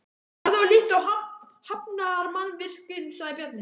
Farðu og líttu á hafnarmannvirkin, sagði Bjarni.